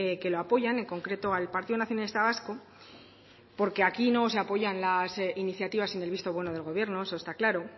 que lo apoyan en concreto al partido nacionalista vasco porque aquí no se apoyan las iniciativas sin el visto bueno del gobierno eso está claro